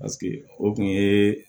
Paseke o kun ye